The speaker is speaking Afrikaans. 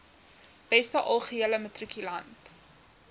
beste algehele matrikulant